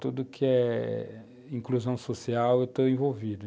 Tudo que é eh inclusão social, eu estou envolvido.